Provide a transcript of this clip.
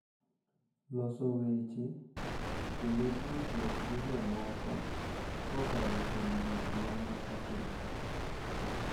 loso weche, kendo tudruok gi jomoko kokalo kuom gik ma ne otimore.